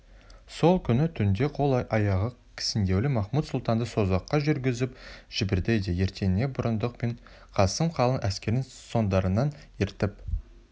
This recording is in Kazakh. сол күні түнде қол-аяғы кісендеулі махмуд-сұлтанды созаққа жүргізіп жіберді де ертеңіне бұрындық пен қасым қалың әскерін соңдарынан ертіп